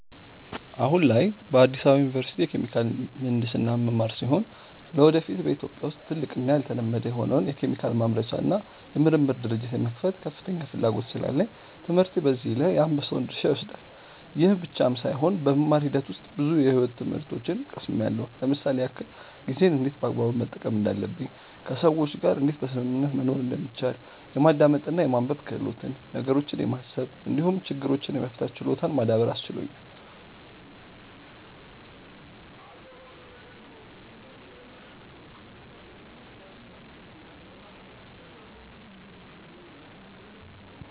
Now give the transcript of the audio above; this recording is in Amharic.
አሁን ላይ በአዲስ አበባ ዩኒቨርሲቲ የኬሚካል ምሕንድስና የምማር ሲሆን ለወደፊት በኢትዮጵያ ውስጥ ትልቅ እና ያልተለመደ የሆነውን የኬሚካል ማምረቻ እና የምርምር ድርጅት የመክፈት ከፍተኛ ፍላጎት ስላለኝ ትምህርቴ በዚህ ላይ የአንበሳውን ድርሻ ይወስዳል። ይህ ብቻም ሳይሆን በመማር ሂደት ውስጥ ብዙ የሕይወት ትምህርቶችን ቀስምያለው ለምሳሌ ያክል፦ ጊዜን እንዴት በአግባቡ መጠቀም እንዳለብኝ፣ ከሰዎች ጋር እንዴት በስምምነት መኖር እንደሚቻል፣ የማዳመጥ እና የማንበብ ክህሎትን፣ ነገሮችን የማሰብ እንዲሁም ችግሮችን የመፍታት ችሎታን ማዳበር አስችሎኛል።